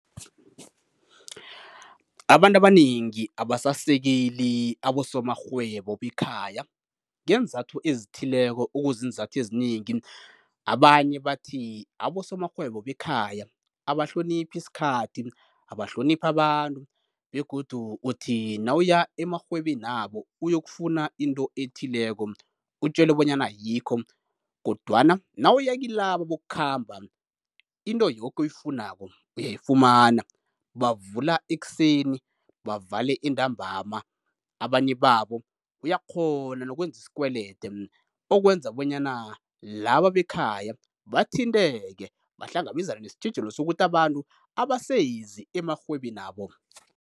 Abantu abanengi abasasekeli abosomarhwebo bekhaya ngeenzathu ezithileko, okuziinzathu ezinengi. Abanye bathi abosomarhwebo bekhaya abahloniphi isikhathi, abahloniphi abantu begodu uthi nawuya emarhwebenabo uyokufuna into ethileko utjelwe bonyana ayikho, kodwana nawuya kilabo bokukhamba into yoke oyifunako uyayifumana bavula ekuseni bavale entambama. Abanye babo uyakghona nokwenza isikwelede okwenza bonyana laba bekhaya bathinteke, bahlangabezane nesitjhijilo sokuthi abantu abasezi emarhwebenabo.